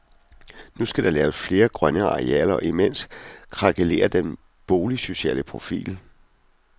Nu skal der laves flere grønne arealer, og imens krakelerer den boligsociale profil.